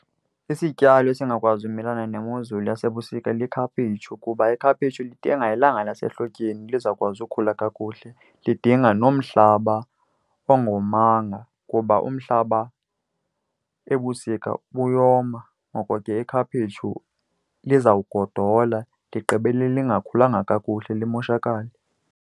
Isityalo esingakwazi ukumelana nemozulu yasebusika likhaphetshu kuba ikhaphetshu lidinga ilanga lasehlotyeni lizawukwazi ukhula kakuhle. Lidinga nomhlaba ongomanga kuba umhlaba ebusika uyoma. Ngoko ke ikhaphetshu lizawugodola ligqibele lingakhulanga kakuhle limoshakale.